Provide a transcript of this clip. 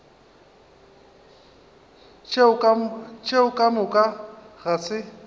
tšeo ka moka ga se